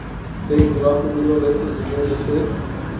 Teh bi lahko bilo letos že deset.